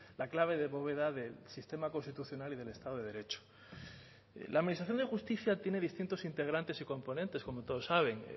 la clave de bóveda del sistema constitucional y del estado de derecho la administración de justicia tiene distintos integrantes y componentes como todos saben